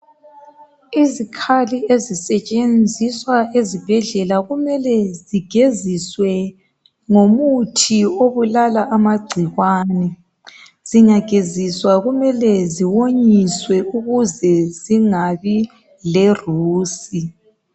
Izikhali ezisetshenziswa ezibhedlela kumele zigeziswe ngomuthi obulala amangcikwane zingageziswa kumele ziwonyiswe ukuze zingabi lerusi